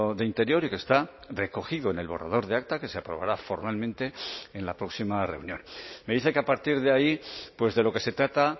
de interior y que está recogido en el borrador de acta que se aprobará formalmente en la próxima reunión me dice que a partir de ahí de lo que se trata